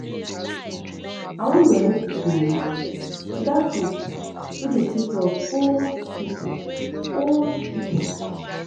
I wan donate dis money to dat group wey dey take care of old people old people